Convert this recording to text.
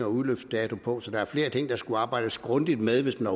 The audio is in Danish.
udløbsdato på så der er flere ting der skulle arbejdes grundigt med hvis man